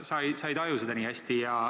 Sa ei taju seda nii hästi.